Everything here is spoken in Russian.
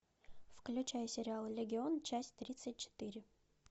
включай сериал легион часть тридцать четыре